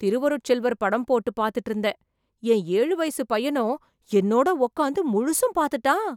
திருவருட்செல்வர் படம் போட்டு பாத்துட்டு இருந்தேன், என் ஏழு வயசு பையனும் என்னோட உட்கார்ந்து முழுசும் பாத்துட்டான்.